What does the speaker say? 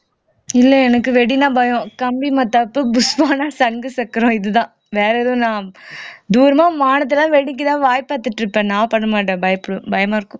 இல்லை எனக்கு வெடின்னா பயம் கம்பி மத்தாப்பு புஷ்வானம் சங்கு சக்கரம் இதுதான் வேற எதுவும் நான் தூரமா வானத்தை எல்லாம் வெடிக்கத்தான் வாய் பார்த்துட்டு இருப்பேன் நான் பண்ண மாட்டேன் பயமா இருக்கும்